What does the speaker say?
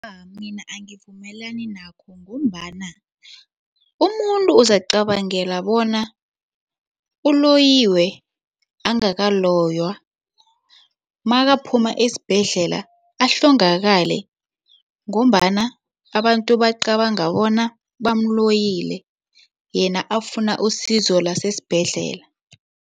Mina angivumelani nakho ngombana umuntu uzacabangela ngendlela bona uloyiwe angakaloywa makaphuma esibhedlela ahlongakale ngombana abantu bacabanga bona bamloyile yena afuna usizo lasesibhedlela.